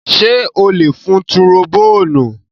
Ṣé ó lè fun turobóònù?